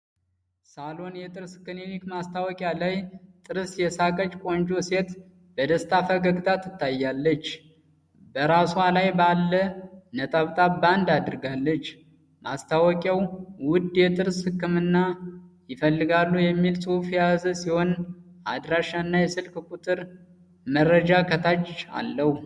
ሳሎን የጥርስ ክሊኒክ ማስታወቂያ ላይ፣ ጥርስ የሳቀች ቆንጆ ሴት በደስታ ፈገግታ ታያለች። በራሷ ላይ ባለ ጥብጣብ ባንድ አድርጋለች። ማስታወቂያው "ውድ የጥርስ ህክምና ይፈልጋሉ?" የሚል ጽሑፍ የያዘ ሲሆን፣ የአድራሻና የስልክ ቁጥር መረጃም ከታች አለው።